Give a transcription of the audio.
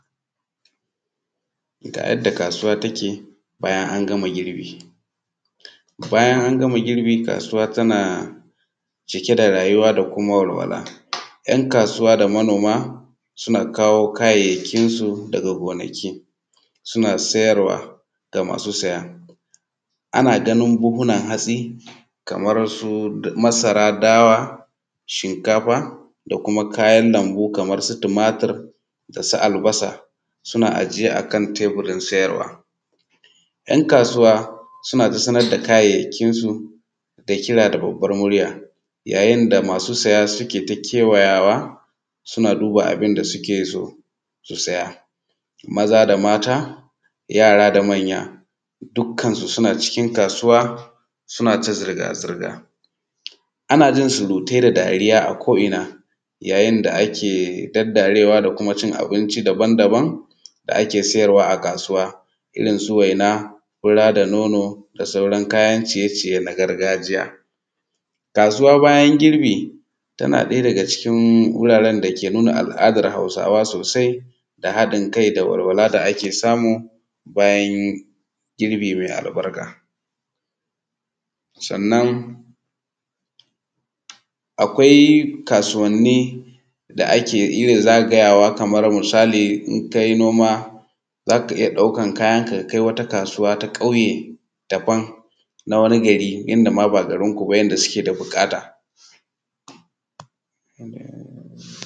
Ga yadda kasuwa take bayan an gama girbi. Bayan an gama girbi kasuwatana cike da rayuwa da walwala, yan kasuw ada manoma suna kawo kayayyakinsu sayarwa ga masu saya. Ana ganin buhuhunan hatsai kamar su: masara dawa, shimkafa da kuma kayan lambu kamarsu tumatur da su albasa a ajiye a kan teburin sayarwa. Ɗan kasuwa suna ta sanar da kayyakinsu da kira da babban murya, yayin da masu saya suke ta kewayawa suna duba abun da so su saya. Ma da mata yara da manya dukkan su suna ciki kasuwa suna ta surutai da dariya a ko'ina yayin da ake ta daddarewa domin cin abinci da ake sayarwa a kasauwa, irinsu waina da sauran fura da nono da sauran kaya ciye-ciye na gargajiya. Kasuwa bayan girbi tana daga daga cikin wurare da ke nuna al'adar Hausawa da haɗin kai da walwala da ake samu bayan girbi mai albarka. Sannan akwai kasuwanni da ake yawan zagayawa kamar misali idan ka yi noma za ka iya daukar kayanka ka kai wata kasuwa na ƙauye daban na wani gari inda ma ba garinku ba inda suke da buƙata.